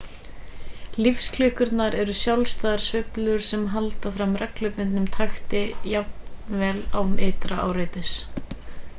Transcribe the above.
lífsklukkur eru sjálfstæðar sveiflur sem halda áfram reglubundnum takti jafnvel án ytra áreitis